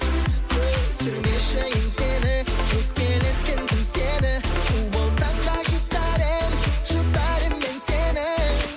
түсірмеші еңсені өкпелеткен кім сені у болсаң да жұтар едім жұтар едім мен сені